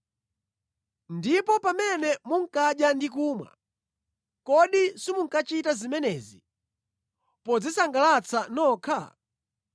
Ndipo pamene munkadya ndi kumwa, kodi simunkachita zimenezi podzisangalatsa nokha?